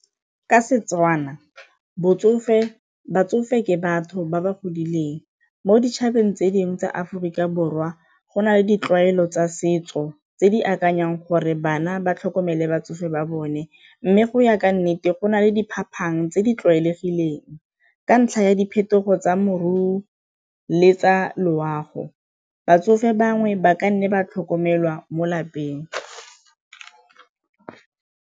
Ka Setswana batsofe ke batho ba ba godileng mo ditšhabeng tse dingwe tsa Aforika Borwa go na le ditlwaelo tsa setso tse di akanyang gore bana ba tlhokomele batsofe ba bone, mme go ya ka nnete go na le diphapang tse di tlwaelegileng ka ntlha ya diphetogo tsa moruo le tsa loago, batsofe bangwe ba ka nne ba tlhokomelwa mo lapeng.